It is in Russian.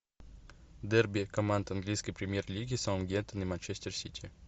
дерби команд английской премьер лиги саутгемптон и манчестер сити